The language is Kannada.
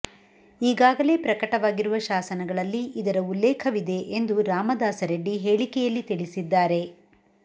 ಈಗಾಗಲೇ ಪ್ರಕಟವಾಗಿರುವ ಶಾಸನಗಳಲ್ಲಿ ಇದರ ಉಲ್ಲೇಖವಿದೆ ಎಂದು ರಾಮದಾಸರೆಡ್ಡಿ ಹೇಳಿಕೆಯಲ್ಲಿ ತಿಳಿಸಿದ್ದಾರೆ